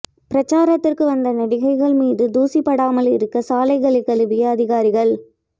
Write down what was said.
பிரச்சாரத்திற்கு வந்த நடிகைகள் மீது தூசி படாமல் இருக்க சாலைகளை கழுவிய அதிகாரிகள்